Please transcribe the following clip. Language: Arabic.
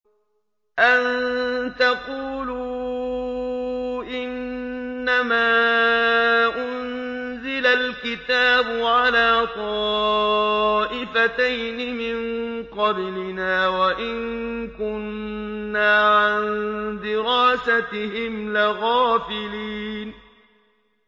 أَن تَقُولُوا إِنَّمَا أُنزِلَ الْكِتَابُ عَلَىٰ طَائِفَتَيْنِ مِن قَبْلِنَا وَإِن كُنَّا عَن دِرَاسَتِهِمْ لَغَافِلِينَ